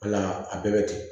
Wala a bɛɛ bɛ ten